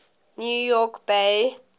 new york bay